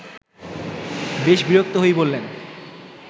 বেশ বিরক্ত হয়েই বললেন